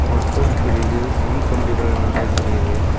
ஒரு போஸ்ட் தெரிது மின் கம்பிகள் நெறைய தெரியுது.